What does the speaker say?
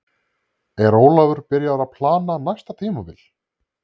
Er Ólafur byrjaður að plana næsta tímabil?